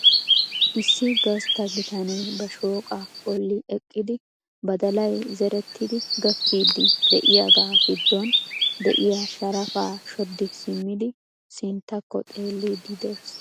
Issi gastta bitanee ba shooqa bolli eqqidi badalay zerettidi gakiidi de'iyaaga giddon de'iyaa sharafaa shoddi simmidi sinttakko xeelidi de'ees .